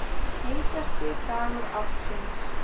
Heitasti dagur ársins